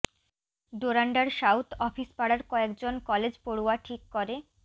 ডোরান্ডার south office পাড়ার কয়েক জন কলেজ পড়ুয়া ঠিক করে